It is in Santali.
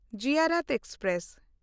ᱡᱤᱭᱟᱨᱟᱛ ᱮᱠᱥᱯᱨᱮᱥ